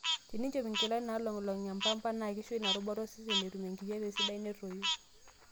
Teninchop nkilanik naalogilog e pamba na keisho ina rubata osesen etum enkijiepe sidai netoi.